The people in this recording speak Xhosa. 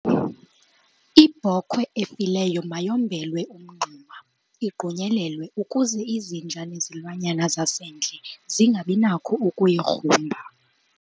Ibhokhwe efileyo mayombelwe umngxuma igqunyelelwe ukuze izinja nezilwanyana zasendle zingabi nakho ukuyigrumba.